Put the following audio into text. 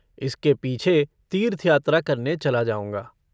इसके पीछे तीर्थ यात्रा करने चला जाऊँगा।